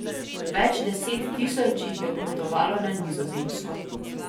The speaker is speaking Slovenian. Več deset tisoč jih je odpotovalo na Nizozemsko.